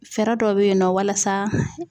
Fɛɛrɛ dɔ bɛ yen nɔ walasa